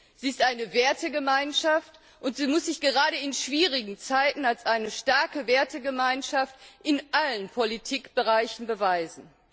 Sie ist eine Wertegemeinschaft, und sie muss sich gerade in schwierigen Zeiten als eine starke Wertegemeinschaft in allen Politikbereichen beweisen.